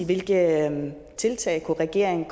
hvilke tiltag regeringen